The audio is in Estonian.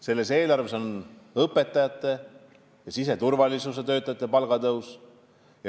Selles eelarves on kirjas õpetajate ja siseturvalisuse töötajate palga tõus.